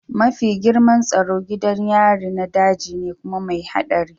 Mafi girman tsaro gidan yarin na daji ne kuma mai haɗari